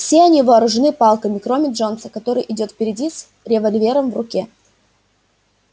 все они вооружены палками кроме джонса который идёт впереди с револьвером в руке